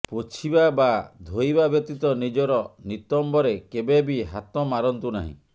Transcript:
ପୋଛିବା ବା ଧୋଇବା ବ୍ୟତୀତ ନିଜର ନିତମ୍ବରେ କେବେ ବି ହାତ ମାରନ୍ତୁ ନାହିଁ